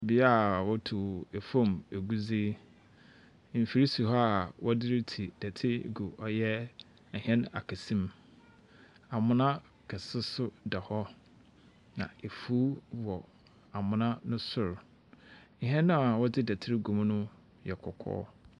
Bea worutu famu egudze. Mfir si hɔ a wɔdze ritsi dɛtse gu ɔyɛ ahɛn akɛse mu. Amona kɛse so da hɔ. Na efuw wɔ amona no no sor. Hɛn a wɔdze dɛtse rugu mu no yɛ kɔkɔɔ.